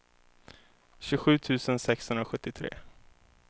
tjugosju tusen sexhundrasjuttiotre